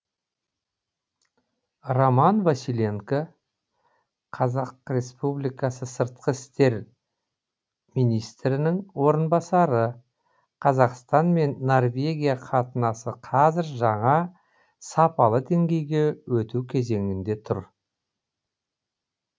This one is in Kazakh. роман василенко қазақстан республикасының сыртқы істер министрінің орынбасары қазақстан мен норвегия қатынасы қазір жаңа сапалы деңгейге өту кезеңінде тұр